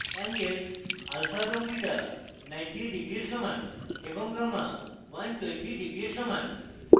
anglesalpha এবং beta 90 degrees সমান এবং gamma 120 degrees সমান